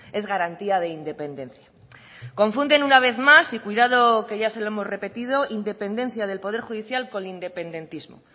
es garantía de independencia confunden una vez más y cuidado que ya se lo hemos repetido independencia del poder judicial con independentismo